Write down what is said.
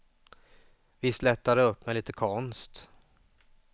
Visst lättar det upp med lite konst.